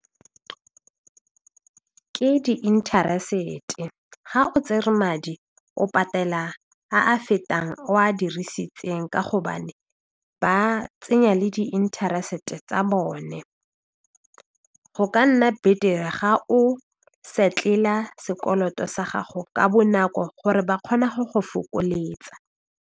Ke di interest-e ga o tsere madi o patela a a fetang a o a dirisitseng ka gobane ba tsenya le di interest-e ka tsa bone, go ka nna betere ga o settle'a sekoloto sa gago ka bonako gore ba kgona go go fokoletsa.